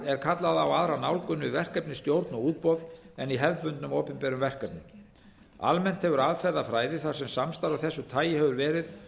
er kallað á aðra nálgun við verkefnisstjórn og útboð en í hefðbundnum opinberum verkefnum almennt hefur aðferðafræði þar sem samstarf af þessu tagi hefur verið